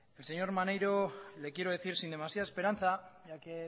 al señor maneiro le quiero decir sin demasiada esperanza ya que